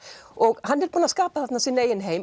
og hann er búinn að skapa þarna sinn eigin heim